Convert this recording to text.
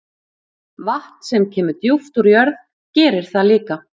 Vatn sem kemur djúpt úr jörð gerir það líka.